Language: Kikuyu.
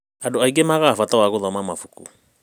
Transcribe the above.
Andũ aingĩ magaga bata wa gũthoma mabuku.